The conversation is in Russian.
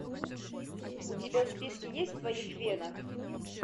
у тебя в списке есть в твоих венах